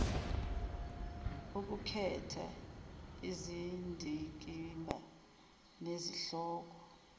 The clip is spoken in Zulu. ukukhetha izindikimba nezihloko